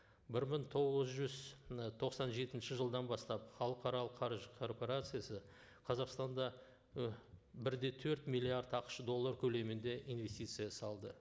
бір мың тоғыз жүз ы тоқсан жетінші жылдан бастап халықаралық қаржы корпорациясы қазақстанда ы бір де төрт миллиард ақш доллар көлемінде инвестиция салды